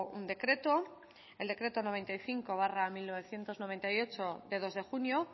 un decreto el decreto noventa y cinco barra mil novecientos noventa y ocho de dos de junio